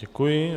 Děkuji.